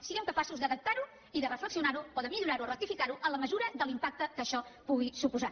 siguem capaços d’adaptar ho i de reflexionar ho o de millorar ho o rectificar ho en la mesura de l’impacte que això pugui suposar